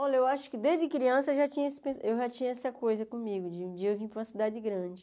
Olha, eu acho que desde criança eu já tinha essa coisa comigo, de um dia eu vir para uma cidade grande.